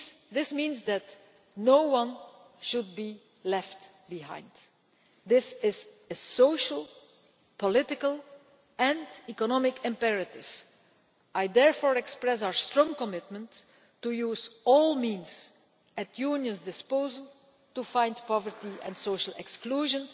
This means that no one should be left behind. This is a social, political and economic imperative. I therefore express our strong commitment to using all means at the Union's disposal to fight poverty and social exclusion.